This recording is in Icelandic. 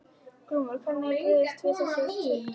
Glúmur: Hvernig er brugðist við í þessum tilvikum?